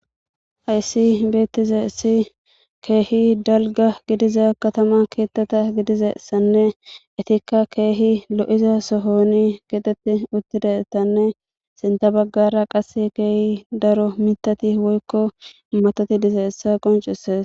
Hayssi beettizeesi keehi dalga gidiza katama keettata gidizassanne itikka keehi lo7iza sohoni getetti uttidesanne sinta baggara qas keehi daro mitati woykko matoti dize essa qoncises.